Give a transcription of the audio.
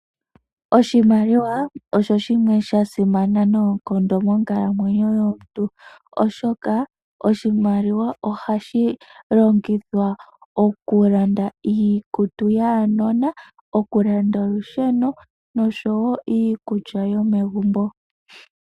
Oshimaliwa osho shimwe sha simana noonkondo monkalamwenyo yomuntu, oshoka oshimaliwa ohashi longithwa oku landa iikutu yaanona, oku landa olusheno noshowo iikulya yomegumbo.